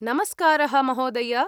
नमस्कारः महोदय।